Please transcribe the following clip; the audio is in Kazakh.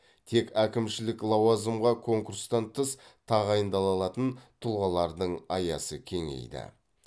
тек әкімшілік лауазымға конкурстан тыс тағайындала алатын тұлғалардың аясы кеңейді